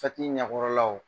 ɲɛkɔrɔlaw